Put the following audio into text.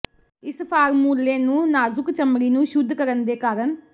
ਇਸ ਫਾਰਮੂਲੇ ਨੂੰ ਨਾਜ਼ੁਕ ਚਮੜੀ ਨੂੰ ਸ਼ੁੱਧ ਕਰਨ ਦੇ ਕਾਰਨ